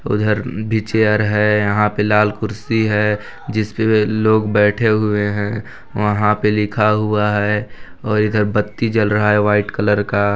उधर भी चेयर है यहाँ पे लाल कुर्सी है जिसपे लोग बैठे हुए है वहाँ पे लिखा हुआ है और इधर बत्ती जल रहा है वाइट कलर का--